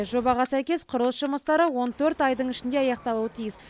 жобаға сәйкес құрылыс жұмыстары он төрт айдың ішінде аяқталуы тиіс